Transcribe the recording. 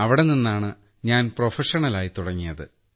അവിടെനിന്നാണ് ഞാൻ പ്രൊഫഷണലായി തുടങ്ങിയത്